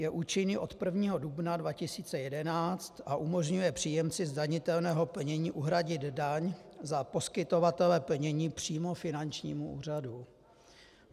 Je účinný od 1. dubna 2011 a umožňuje příjemci zdanitelného plnění uhradit daň za poskytovatele plnění přímo finančnímu úřadu.